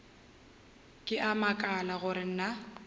ke a makala gore na